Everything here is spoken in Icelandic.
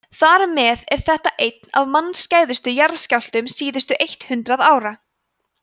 þar með er þetta einn af mannskæðustu jarðskjálftum síðustu eitt hundruð ára